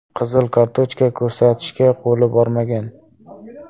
Qizil kartochka ko‘rsatishga qo‘li bormagan.